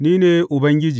Ni ne Ubangiji.